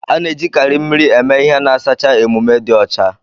A na ejikarị mmiri eme ihe n sacha emume dị ọcha.